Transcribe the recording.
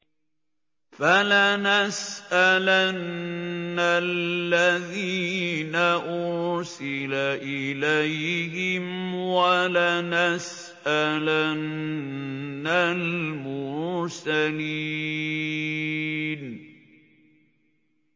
فَلَنَسْأَلَنَّ الَّذِينَ أُرْسِلَ إِلَيْهِمْ وَلَنَسْأَلَنَّ الْمُرْسَلِينَ